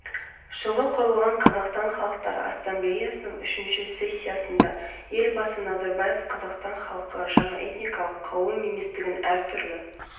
әсіресе соңғы жағдай этносаралық дау-жанжалдарды тудырмау мақсатында мәдениетке қатысты мемлекеттік саясатта ішкі саяси тұрақтылық пен азаматтық татулық мәдени плюрализм бағытын